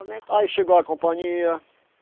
Como é que. Aí chegou a companhia.